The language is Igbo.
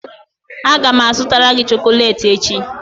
Aga m azụtara gị chocolate echi